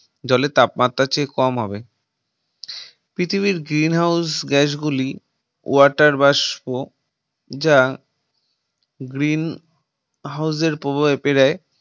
জলের তাপমাত্রার চেয়ে কম হবে পৃথিবীর Green House Gas গুলি water বাষ্প যা Green House এর প্রভাবে প্রায়